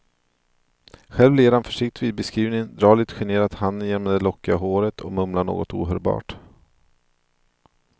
Själv ler han försiktigt vid beskrivningen, drar lite generat handen genom det lockiga håret och mumlar något ohörbart.